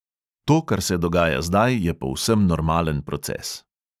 To, kar se dogaja zdaj, je povsem normalen proces.